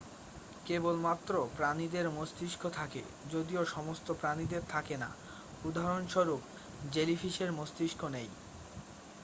কেবলমাত্র প্রাণীদের মস্তিষ্ক থাকে যদিও সমস্ত প্রাণীদের থাকে না; উদাহরণস্বরূপ জেলিফিশের মস্তিষ্ক নেই।